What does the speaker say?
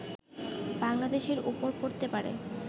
বাংলাদেশের ওপর পড়তে পারে